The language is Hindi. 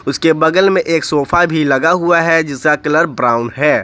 उसके बगल में एक सोफा भी लगा हुआ है जिसका कलर ब्राउन है।